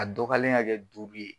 A dɔgoyalen ka kɛ duuru ye.